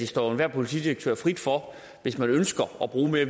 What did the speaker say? står enhver politidirektør frit for hvis man ønsker at bruge mere